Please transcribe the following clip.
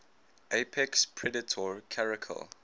apex predator caracal